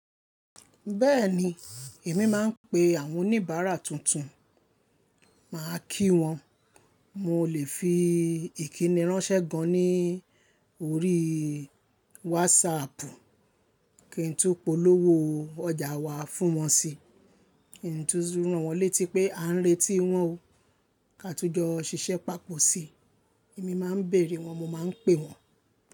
Bẹ́ẹ̀ni, èmi máa ń pe àwọn oníbàárà tuntun, màá kí wọn. Mo lè fi ìkínní ránṣẹ́ gan ní orí WhatsApp kín tó polówó ọjà wa fún wọn síi. Kín tu rán wọn létí pé à ń retí wọ́n o ká tó jọ ṣiṣẹ́ papọ̀ si. Èmi máa ń bèèrè wọ́n, mo máa ń pè wọ́n.